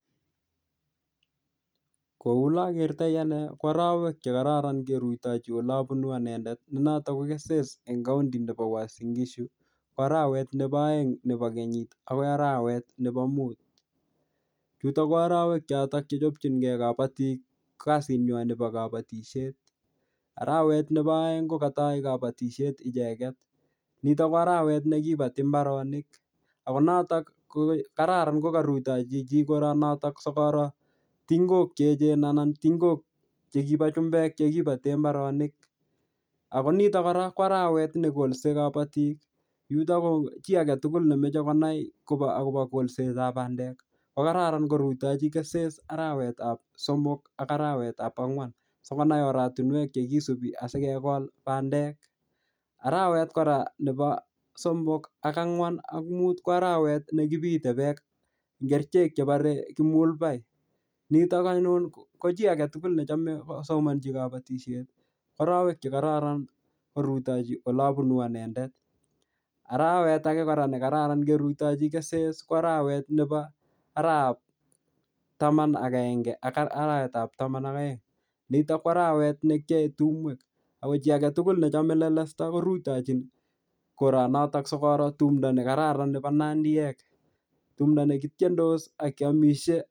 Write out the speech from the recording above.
Kou ale akertoi ane, ko arawek che kararan kerutochin ole abunu anendet, ne notok ko Keses eng county nebo Uasin-Gishu, ko arawet nebo aeng nebo kenyit agoi arawet nebo mut. Chutok ko arawek chotok che chechopchinkey kabatik kasit nywaa nebo kabatisiet. Arawet nebo aeng ko katai kabatisiet icheket. Nitok ko arawet ne kibati mbaronik. Ako notok ko kararan ko karutochi chii koroo notok sikoro tingok che echen anan tingok che kibo chumbek che kibate mbaronik. Ako nitok kora, ko arawet ne kolse kabatik. Yutok ko chii age tugul nemeche konai kobo akobo kolsetab bandek, ko kararan korutochi Keses arawetab somok ak arawetab angwan, sikonai oratunwek che kisubi asikegol bandek. Arawet kora nebo somok, ak angwan ak mut ko arawet ne kibitei beek eng kerichek chebore kimulbai. Nitok anyun ko chii age tugul nechame kosomanchi kabatisiet, ko arawek che kararan korutochi ole abunu anendet. Arawet age kora ne kararan kerutochi Keses, ko arawet nebo, araap taman ak agenge ak arawet ap taman ak aeng. Nitok ko arawet ne kiyae tumwek. Ako chii age tugul nechame lelesta korutochin koroo notok sikoro tumdo ne kararan nebo nandiyek. Tumdo ne kitiendos ak kiamishie.